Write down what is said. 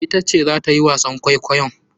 Ita ce zata yi wasan kwaikwayon.